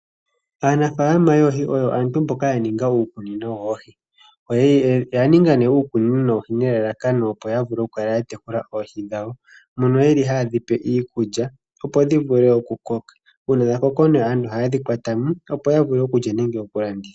Aanafalama yoohi oyo aantu mboka ya ninga uukunino woohi. Oya ninga nee uukunino woohi nelalakano opo ya vule okukala ya tekula oohi dhawo moka haye dhi pe iikulya opo dhi vule okukoka. Uuna dha koko aantu ohaye dhi kwata mo opo ya vule okulya nenge okulanditha.